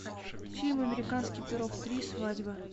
фильм американский пирог три свадьба